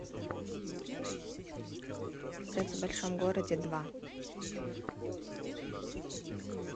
секс в большом городе два